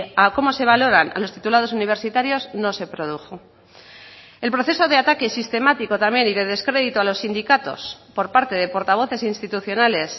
a cómo se valoran los titulados universitarios no se produjo el proceso de ataque sistemático también y de descredito a los sindicatos por parte de portavoces institucionales